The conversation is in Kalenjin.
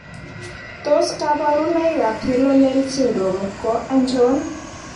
Tos kabarunoik ab Yellow nail syndrome ko achon?